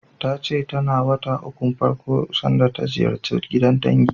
Ta ce tana wata ukun farko sanda ta ziyarci gidan dangi.